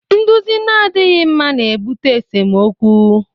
Nduzi na-adịghị mma na-ebute n'esemokwu